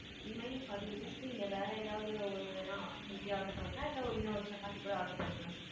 remaining forty rupees க்கு நீங்க வேற ஏதாவது ஒண்ணு வேணா order பண்ணிக்கலாம் இல்ல இன்னும் ஒரு சப்பாத்தி கூட order பண்ணிக்கலாம் sir.